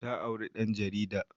Ta auri ɗan jarida